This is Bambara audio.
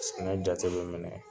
Ni jate bɛ minɛ